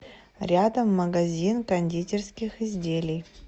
рядом магазин кондитерских изделий